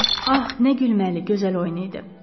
Ah nə gülməli, gözəl oyun idi.